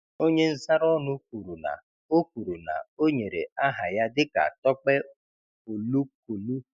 Onye nzaraọnụ kwuru na o kwuru na o nyere aha ya dịka Tope Olukolu